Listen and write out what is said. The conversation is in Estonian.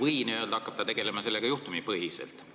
või ta hakkab sellega tegelema n-ö juhtumipõhiselt?